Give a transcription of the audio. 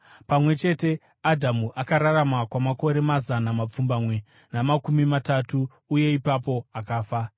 Pamwe chete, Adhamu akararama kwamakore mazana mapfumbamwe namakumi matatu, uye ipapo akafa.